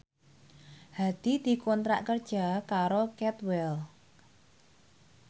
Hadi dikontrak kerja karo Cadwell